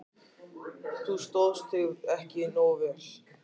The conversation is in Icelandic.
Þú stóðst þig ekki nógu vel.